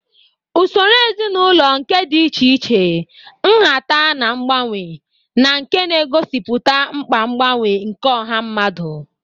Usoro ezinaụlọ nke dị iche iche, nhata, na mgbanwe, na nke na-egosipụta mkpa mgbanwe nke ọha mmadụ